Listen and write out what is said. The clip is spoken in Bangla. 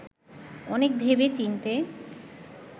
অনেক ভেবে-চিন্তে